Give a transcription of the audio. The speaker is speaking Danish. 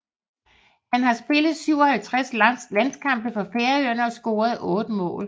Han har spillet 57 landskampe for Færøerne og scoret 8 mål